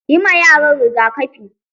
Yi ma yaran rigakafi.